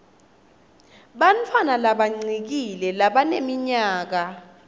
bantfwana labancikile labaneminyaka